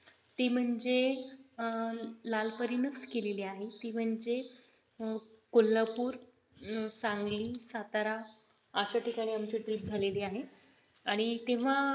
ती म्हणजे अह लाल परी नेच केलेले आहे ती म्हणजे कोल्हापूर, सांगली, सातारा अशी ठिकाणी आमची trip झालेली आहे आणि तेव्हा अं